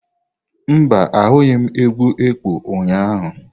Mba, ahụghị m egwu ekpo ụnyahụ.